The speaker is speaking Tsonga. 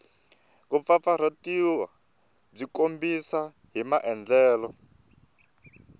kumpfampfarhutiwa byi tikombisa hi maandlalelo